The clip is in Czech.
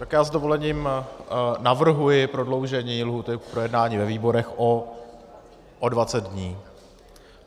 Tak já s dovolením navrhuji prodloužení lhůty k projednání ve výborech o 20 dní.